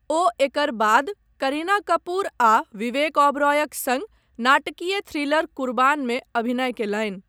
ओ एकर बाद करीना कपूर आ विवेक ओबेरॉयक सङ्ग, नाटकीय थ्रिलर कुरबानमे अभिनय कयलनि।